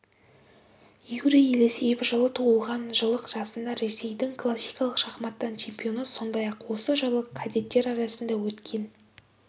юрий елисеев жылы туылған жылы жасында ресейдің классикалық шахматтан чемпионы сондай-ақ осы жылы кадеттер арасында өткен